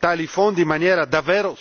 tali fondi in maniera davvero strutturale.